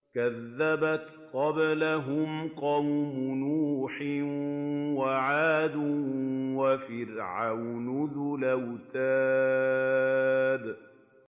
كَذَّبَتْ قَبْلَهُمْ قَوْمُ نُوحٍ وَعَادٌ وَفِرْعَوْنُ ذُو الْأَوْتَادِ